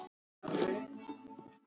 Hún á heima hérna!